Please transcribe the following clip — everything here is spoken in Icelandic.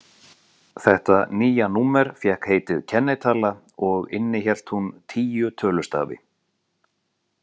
Þetta nýja númer fékk heitið kennitala og innihélt hún tíu tölustafi.